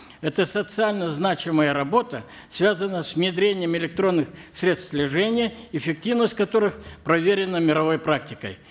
это социально значимая работа связана с внедрением электронных средств слежения эффективность которых проверена мировой практикой